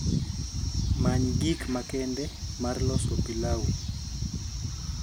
many gik makende mar loso pilau